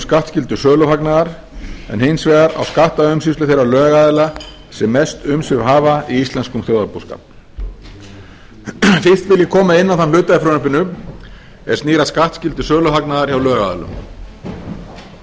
skattskyldu söluhagnaðar en hins vegar á skattaumsýslu þeirra lögaðila sem mest umsvif hafa í íslenskum þjóðarbúskap fyrst vil ég koma inn á þann hluta í frumvarpinu er snýr að skattskyldu söluhagnaðar hjá lögaðilum forsögu þessarar